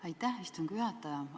Aitäh, istungi juhataja!